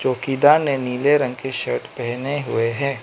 चौकीदार ने नीले रंग की शर्ट पहने हुए है।